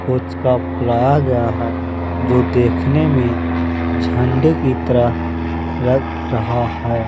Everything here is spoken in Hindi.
कुछ का फ्रॉग यहाँ जो देखने में झंडे की तरह लग रहा है।